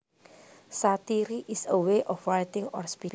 Satire is a way of writing or speaking